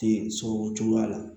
Den sɔrɔ o cogoya la